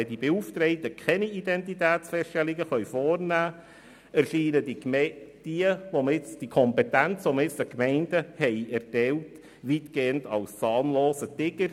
Wenn die Beauftragten keine Identitätsfeststellungen vornehmen können, erscheinen die Kompetenzen, die man jetzt den Gemeinden erteilt hat, weitgehend als zahnloser Tiger.